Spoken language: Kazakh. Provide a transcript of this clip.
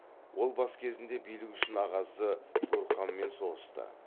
ол бас кезінде билік үшін ағасы гурханмен соғысты